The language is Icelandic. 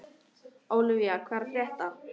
Ólivía, hvað er að frétta?